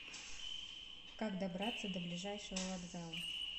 как добраться до ближайшего вокзала